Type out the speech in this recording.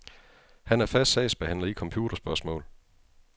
Han er fast sagsbehandler i computerspørgsmål.